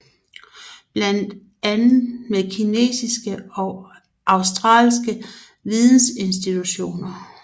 Blandt andet med kinesiske og australske vidensinstitutioner